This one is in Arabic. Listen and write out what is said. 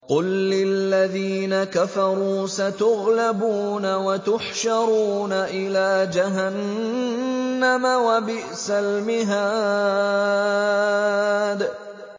قُل لِّلَّذِينَ كَفَرُوا سَتُغْلَبُونَ وَتُحْشَرُونَ إِلَىٰ جَهَنَّمَ ۚ وَبِئْسَ الْمِهَادُ